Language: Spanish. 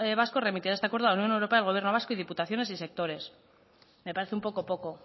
vasco remitirá a este acuerdo a la unión europea al gobierno vasco y diputaciones y sectores me parece un poco poco